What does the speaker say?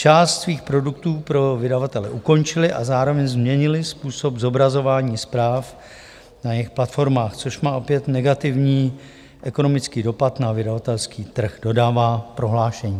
Část svých produktů pro vydavatele ukončily a zároveň změnily způsob zobrazování zpráv na jejich platformách, což má opět negativní ekonomický dopad na vydavatelský trh," dodává prohlášení.